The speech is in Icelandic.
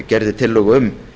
gerði tillögu um